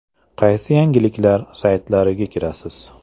Qaysi yangiliklar saytlariga kirasiz?